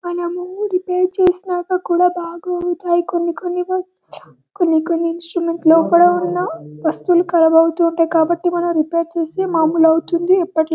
మనము రిపేర్ చేసినాక కూడా బాగా అవుతాయి కొన్ని కొన్ని వస్తువులు కొన్ని కొన్ని లోపల ఉన్న వస్తువులు ఖరాబు అవుతుంటాయి కాబట్టి మనము రిపేర్ చేసి మామూలు అవుతుంది ఎప్పటిలాగే--